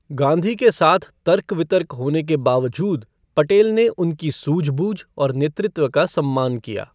गाँधी के साथ तर्क वितर्क होने के बावजूद पटेल ने उनकी सूझबूझ और नेतृत्व का सम्मान किया।